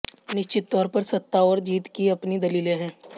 निश्चित तौर पर सत्ता और जीत की अपनी दलीलें हैं